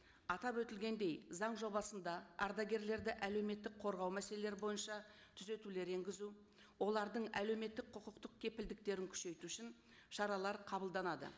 атап өтілгендей заң жобасында ардагерлерді әлеуметтік қорғау мәселелері бойынша түзетулер енгізу олардың әлеуметтік құқықтық кепілдіктерін күшейту үшін шаралар қабылданады